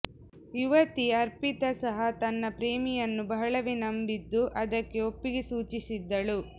ಯುವತಿ ಅರ್ಪಿತಾ ಸಹ ತನ್ನ ಪ್ರೇಮಿಯನ್ನು ಬಹಳವೇ ನಂಬಿದ್ದು ಅದಕ್ಕೆ ಒಪ್ಪಿಗೆ ಸೂಚಿಸಿದ್ದಳು